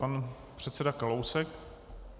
Pan předseda Kalousek.